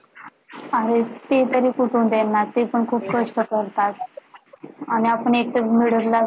अहो ते तरी कुठून देणार ते पण खूप कष्ट करतात आणि आपण एक तर middleclass